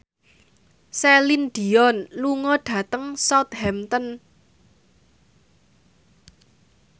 Celine Dion lunga dhateng Southampton